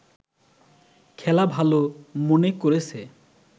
খেলা ভালো মনে করেছে